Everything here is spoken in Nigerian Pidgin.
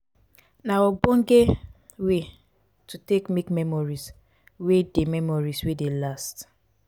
na ogbonge wey to take make memories wey dey memories wey dey last